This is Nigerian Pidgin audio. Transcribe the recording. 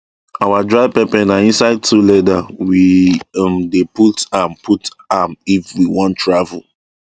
our dried pepper na inside two leather we um dey put am put am if we wan travel